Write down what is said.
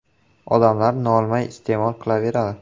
Odamlar nolimay iste’mol qilaveradi.